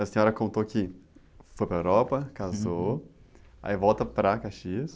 A senhora contou que foi para a Europa, casou, aí volta para Caxias.